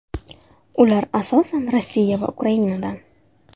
Ular asosan Rossiya va Ukrainadan.